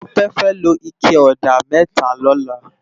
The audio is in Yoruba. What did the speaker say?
Tope fè ló iké òdá mètá lòlá